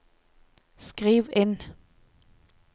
skriv inn